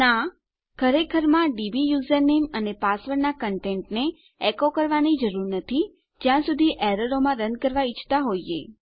ના ખરેખરમાં આપણે આપણા ડીબી યુઝરનેમ અને પાસવર્ડના કન્ટેન્ટને એકો કરવાની જરૂર નથી જ્યા સુધી આપણે એરરો માં રન કરવા ઈચ્છતા હોઈએ